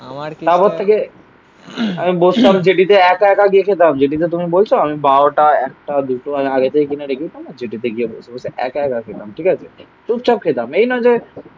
Club হচ্ছে গিয়ে আমি বসলাম জেটিতে একা একা গিয়ে খেতাম জেটিতে তুমি বলছো আমি বারোটা একটা দুটো আগে থেকে কিনে রেখে জেটিতে গিয়ে বসে বসে একা একা খেলাম. ঠিক আছে? চুপচাপ খেতাম. এই না যে